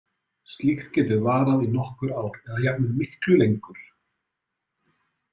Slíkt getur varað í nokkur ár eða jafnvel miklu lengur.